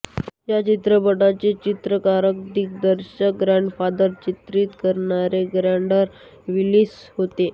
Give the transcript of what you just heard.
या चित्रपटाचे चित्रीकरण दिग्दर्शक गॉडफादर चित्रित करणारे गॉर्डन विलिस होते